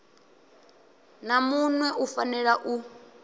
na muṋwe u fanela u